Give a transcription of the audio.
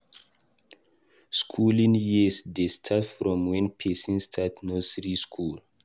Skooling years dey start from wen pesin start nursery skool.